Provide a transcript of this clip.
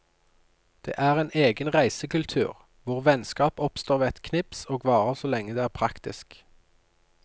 Det er en egen reisekultur, hvor vennskap oppstår ved et knips og varer så lenge det er praktisk.